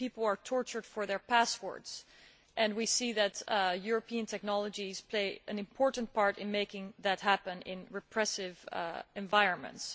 People are tortured for their passwords and we see that European technologies play an important part in making that happen in repressive environments.